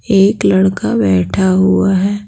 एक लड़का बैठा हुआ है।